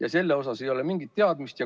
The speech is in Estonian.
Aga selle kohta ei ole mingit teadmist.